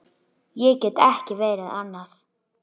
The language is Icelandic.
Ég get ekki verið annað.